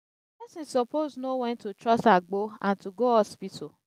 pesin suppose know wen to trust agbo and to go hospital.